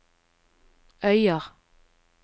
Øyer